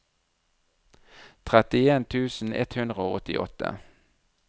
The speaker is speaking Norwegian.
trettien tusen ett hundre og åttiåtte